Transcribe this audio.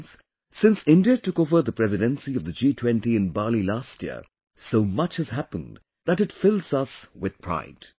Friends, since India took over the presidency of the G20 in Bali last year, so much has happened that it fills us with pride